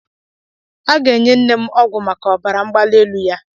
A ga-enye nnem ọgwụ maka ọbara mgbali elu ya.